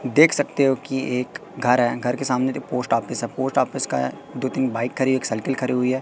देख सकते हो कि एक घर है घर के सामने पोस्ट ऑफिस है पोस्ट ऑफिस का दो तीन बाइक खरी है एक साइकिल खरी हुई है।